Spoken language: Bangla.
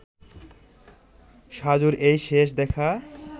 সাজুর এই শেষ দেখা